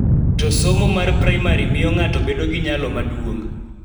To somo mar primary miyo ng�ato bedo gi nyalo maduong�.